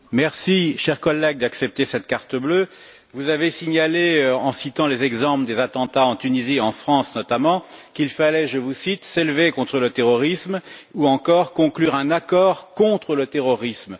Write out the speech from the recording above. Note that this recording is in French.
Je vous remercie, chère collègue, d'accepter ce carton bleu. Vous avez signalé, en citant les exemples des attentats en Tunisie et en France, notamment, qu'il fallait je vous cite s'élever contre le terrorisme ou encore conclure un accord contre le terrorisme.